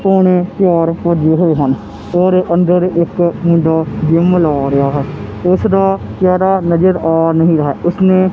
ਪੌਣੇ ਚਾਰ ਵਜੇ ਹੋਏ ਹਨ ਔਰ ਅੰਦਰ ਇੱਕ ਮੁੰਡਾ ਜਿੱਮ ਲਾ ਰਿਹਾ ਹੈ ਉਸਦਾ ਚਿਹਰਾ ਨਜ਼ਰ ਆ ਨਹੀਂ ਰਹਾ ਉਸਨੇਂ--